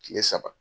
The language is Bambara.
Kile saba